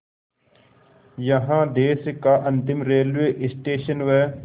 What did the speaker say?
यहाँ देश का अंतिम रेलवे स्टेशन व